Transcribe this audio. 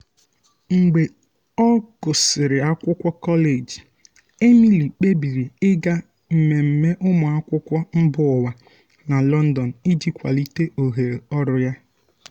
mgbe ọ gụsịrị akwụkwọ kọleji emily kpebiri ịga mmemme ụmụ akwụkwọ mba ụwa na london iji kwalite ohere ọrụ ya.